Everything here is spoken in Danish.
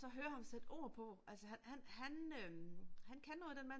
Og så høre ham sætte ord på altså han øh han kan noget den mand